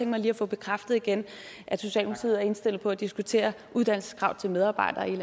mig lige at få bekræftet igen at socialdemokratiet er indstillet på at diskutere uddannelseskrav til medarbejdere